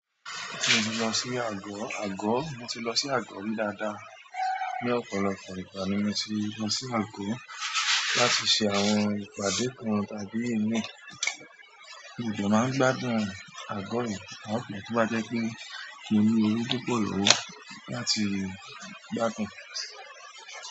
Mo ti lọ sí àgọ́, àgọ́ mo ti lọ sí àgọ́ rí dáadáa. Ni ọ̀pọ̀lọpọ̀ ìgbà ni mo ti lọ sí àgọ́ láti ṣe àwọn ìpàdé kan tàbí ìmí, mo de máa ń gbádùn àgọ́ yẹn àpọ̀ tí ó bá jẹ́ pé kí n owo púpọ̀ owó láti gbádùn.